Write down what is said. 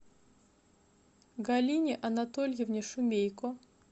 галине анатольевне шумейко